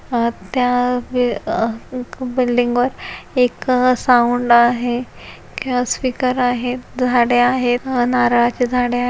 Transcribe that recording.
अह त्या वे अह बिल्डिंग वर एक साऊंड आहे स्पीकर आहेत झाडे आहेत अह नारळाचे झाडे आहे.